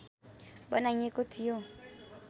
बनाइएको थियो